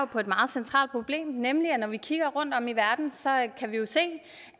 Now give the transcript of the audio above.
på et meget centralt problem nemlig det at når vi kigger rundtom i verden kan vi se